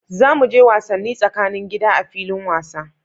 Za mu je wasanni tsakanin gida a filin wasa.